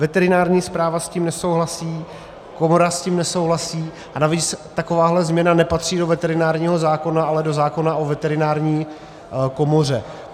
Veterinární správa s tím nesouhlasí, komora s tím nesouhlasí a navíc taková změna nepatří do veterinárního zákona, ale do zákona o veterinární komoře.